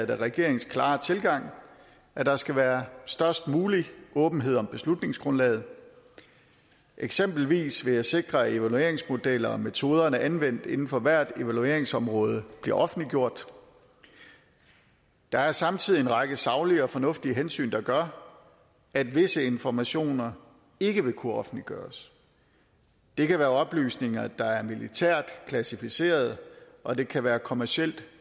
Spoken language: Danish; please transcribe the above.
det regeringens klare tilgang at der skal være størst mulig åbenhed om beslutningsgrundlaget eksempelvis vil jeg sikre de evalueringsmodeller og metoder der er anvendt inden for hvert evalueringsområde bliver offentliggjort der er samtidig en række saglige og fornuftige hensyn der gør at visse informationer ikke vil kunne offentliggøres det kan være oplysninger der er militært klassificeret og det kan være kommercielt